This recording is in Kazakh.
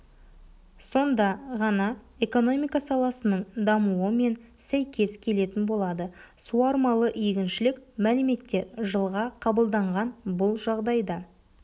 сонда ғана экономика саласының дамуы мен сәйкес келетін болады суармалы егіншілік мәліметтер жылға қабылданған бұл жағдайда